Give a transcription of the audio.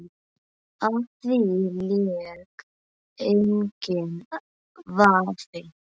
Á því lék enginn vafi.